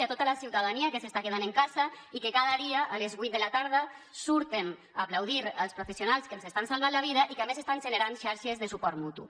i a tota la ciutadania que s’està quedant a casa i que cada dia a les huit de la tarda surten a aplaudir els professionals que ens estan salvant la vida i que a més estan generant xarxes de suport mutu